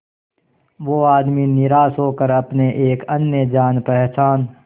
वो आदमी निराश होकर अपने एक अन्य जान पहचान